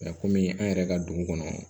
kɔmi an yɛrɛ ka dugu kɔnɔ